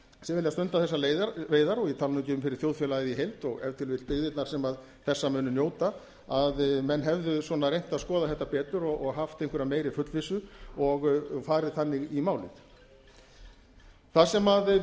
sem vilja stunda þessar veiðar og ég tala nú ekki um fyrir þjóðfélagið í heild og ef til vill byggðirnar sem þessa munu njóta að menn hefðu reynt að skoða þetta betur og haft einhverja meiri fullvissu og farið þannig í málið það sem við höfum í